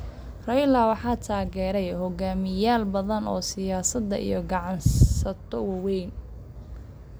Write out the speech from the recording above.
Raila waxaa taageeray hoggaamiyeyaal badan oo siyaasadeed iyo ganacsato waaweyn.